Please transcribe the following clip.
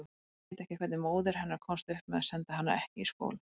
Ég veit ekki hvernig móðir hennar komst upp með að senda hana ekki í skóla.